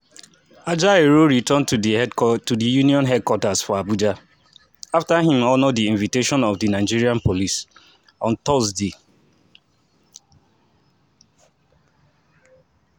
ajaero return to di union headquarters for abuja afta im honour di invitation of di nigeria police on thursday 29 august.